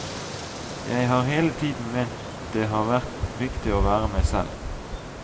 Jeg har hele tiden ment det har vært viktig å være meg selv.